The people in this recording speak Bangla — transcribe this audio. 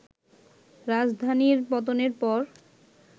রাজধানীর পতনের পর